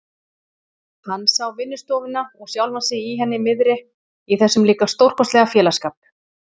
Hann sá vinnustofuna og sjálfan sig í henni miðri, í þessum líka stórkostlega félagsskap.